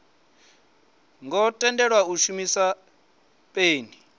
ngo tendelwa u shumisa peni